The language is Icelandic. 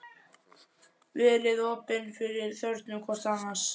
Verið opin fyrir þörfum hvort annars.